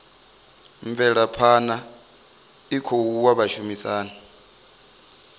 mvelaphana i khou oa vhashumisani